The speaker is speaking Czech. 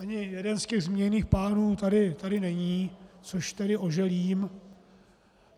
Ani jeden z těch zmíněných pánů tady není, což tedy oželím.